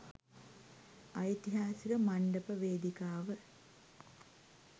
ඓතිහාසික මණ්ඩප වේදිකාව